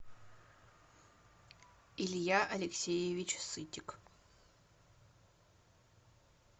илья алексеевич сытик